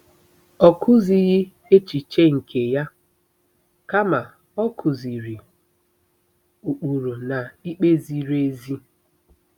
Ọ kụzighị echiche nke ya, kama ọ kụziiri “ ụkpụrụ na ikpe ziri ezi.